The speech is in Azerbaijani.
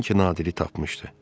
Sanki Nadiri tapmışdı.